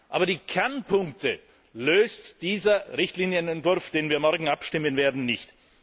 Aber die Kernpunkte löst dieser Richtlinienentwurf, über den wir morgen abstimmen werden, nicht.